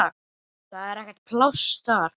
Það er ekkert pláss þar.